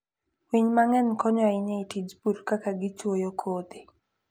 Winy mang'eny konyo ahinya e tij pur ka gichuoyo kodhi.